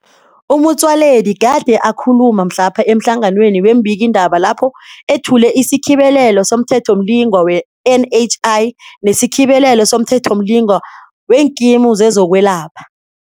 U-Motsoaledi gade akhulu ma mhlapha emhlanganweni weembikiindaba lapho ethule isiKhibelelo somThethomli ngwa we-NHI nesiKhibele lo somThethomlingwa weeNkimu zezokweLapha.